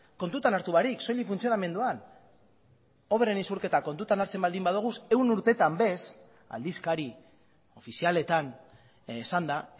kontutan hartu barik soilik funtzionamenduan obren isurketak kontutan hartzen baldin badugu ehun urtetan bez aldizkari ofizialetan esanda